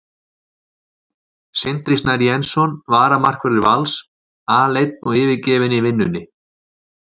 Sindri Snær Jensson varamarkvörður Vals: Aleinn og yfirgefinn í vinnunni.